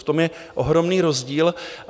V tom je ohromný rozdíl.